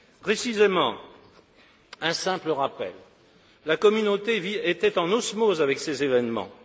Précisément, un simple rappel la Communauté était en osmose avec ces événements.